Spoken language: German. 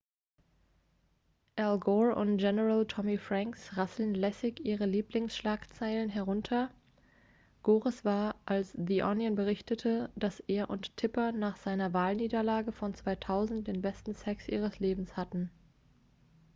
al gore und general tommy franks rasseln lässig ihre lieblingsschlagzeilen herunter gores war als the onion berichtete dass er und tipper nach seiner wahlniederlage von 2000 den besten sex ihres lebens hatten